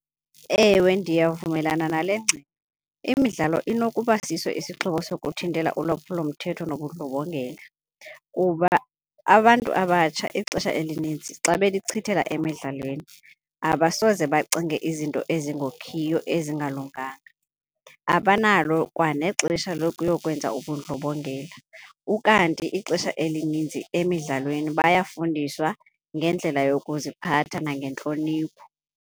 Ewe, ndiyavumelana nale ngxelo. Imidlalo inokuba siso isixhobo sokuthintela ulwaphulomthetho nobundlobongela. Kuba abantu abatsha ixesha elinintsi xa belichithela emdlalweni abasoze bacinge izinto ezingokhiyo ezingalunganga, abanalo kwanexesha lokuyokwenza ubundlobongela. Ukanti ixesha elininzi emdlalweni bayafundiswa ngendlela yokuziphatha nangentloniphi.